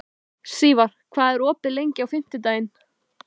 Sívar, hvað er opið lengi á fimmtudaginn?